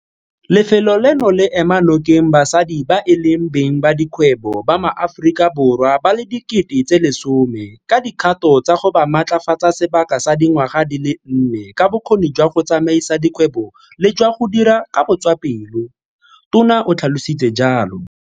Lefelo leno le ema nokeng basadi ba e leng beng ba dikgwebo ba maAforika Borwa ba le 10 000 ka dikgato tsa go ba matlafatsa sebaka sa di ngwaga di le nne ka bokgoni jwa go tsamaisa dikgwebo le jwa go dira ka botswapelo, Tona o tlhalositse jalo.